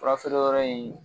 Furafeereyɔrɔ in